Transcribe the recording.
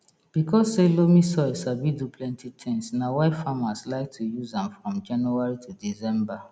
because say loamy soil sabi do plenti tins na why farmers like to use am from january to december